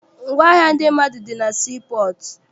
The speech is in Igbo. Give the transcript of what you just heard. Ngwaahịa ndị mmadụ dị na sii pọọtụ.